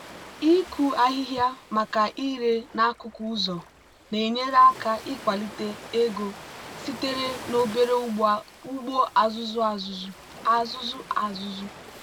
ịkụ ahịhịa maka ire n'akụkụ ụzọ na-enyere aka ịkwalite ego sitere n'obere ugbo azụ azụ.